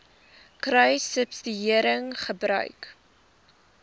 kruissubsidiëringgebruik